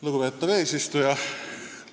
Lugupeetav eesistuja!